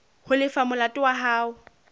ho lefa molato wa hao